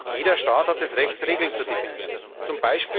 jeder Staat hat das Recht, Regeln zu definieren, z.